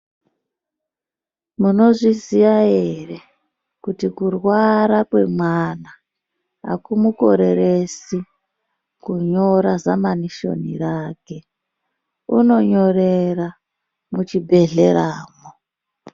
Munozviziya ere kuti kurwara kwe mwana akumu koreresi kunyora zama nishoni rake unonyorera muchi bhehlera mo